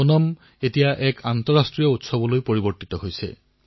ওনাম এক আন্তৰ্জাতিক উৎসৱলৈ পৰিৱৰ্তিত হৈছে